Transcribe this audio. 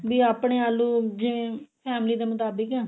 ਵੀ ਆਪਣੇ ਆਲੂ ਜਿਵੇਂ family ਦੇ ਮੁਤਾਬਿਕ